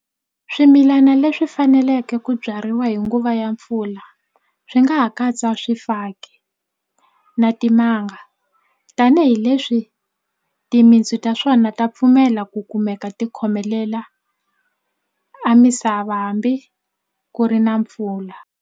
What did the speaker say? Swimilana leswi faneleke ku byariwa hi nguva ya mpfula swi nga ha katsa swifaki na timanga tanihileswi timintsu ta swona ta pfumela ku kumeka ti khomelela a misava hambi ku ri na mpfula.